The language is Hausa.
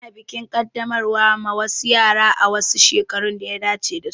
Ana bikin Kaddamarwa ma wasu yara a wasu shekaru daya dace dasu